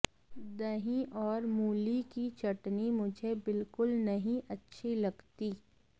दही और मुलीकी चटनी मुझे बिलकुल नहीं अच्छी लगती